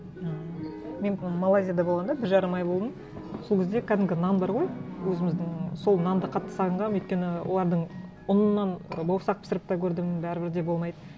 ааа мен малайзияда болғанда бір жарым ай болдым сол кезде кәдімгі нан бар ғой өзіміздің сол нанды қатты сағынғанмын өйткені олардың ұнынан бауырсақ пісіріп те көрдім бәрібір де болмайды